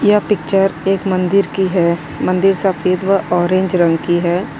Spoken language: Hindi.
यह पिक्चर एक मंदिर की है मंदिर सफेद व ऑरेंज रंग की है।